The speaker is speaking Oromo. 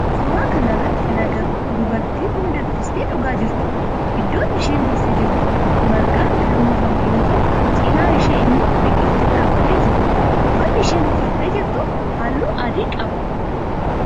Suuraa kana irratti kan agarru dubartii buna danfistee dhugaa jirtudha. Iddoon isheen teessee jirtu margaan kan uwwifame yoo ta'u cinaa ishee immoo biqiltuun dhaabbatee jira. Uffanni isheen uffatte jirtu halluu adii qaba.